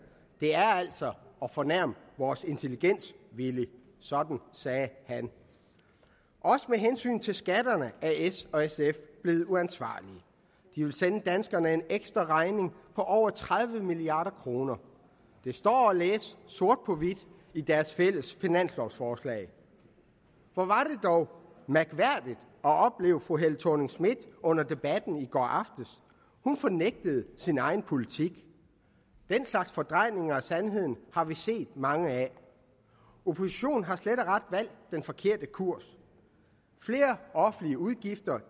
det er altså at fornærme vores intelligens villy sådan sagde han også med hensyn til skatterne er s og sf blevet uansvarlige de vil sende danskerne en ekstra regning på over tredive milliard kroner det står at læse sort på hvidt i deres fælles finanslovforslag hvor var det dog mærkværdigt at opleve fru helle thorning schmidt under debatten i går aftes hun fornægtede sin egen politik den slags fordrejninger af sandheden har vi set mange af oppositionen har slet og ret valgt den forkerte kurs flere offentlige udgifter